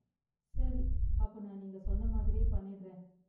சரி, அப்ப நான் நீங்க சொன்ன மாதிரியே பண்ணிடுறேன்.